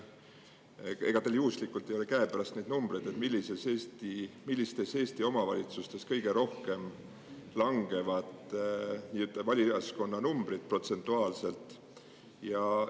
Ega teil juhuslikult ei ole käepärast numbreid, millistes Eesti omavalitsustes kõige rohkem valijaskonna numbrid protsentuaalselt vähenevad?